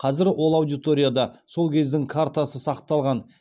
қазір ол аудиторияда сол кездің картасы сақталған